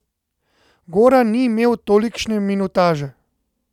Goran ni imel tolikšne minutaže.